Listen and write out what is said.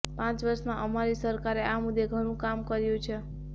પાંચ વર્ષમાં અમારી સરકારે આ મુદ્દે ઘણું કામ કર્યું છે